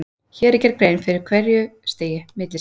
Hér er gerð grein fyrir hverju stigi: Millistig.